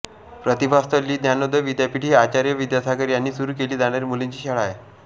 प्रतिभास्थली ज्ञानोदय विद्यापीठ ही आचार्य विद्यासागर यांनी सुरू केली जाणारी मुलींची शाळा आहे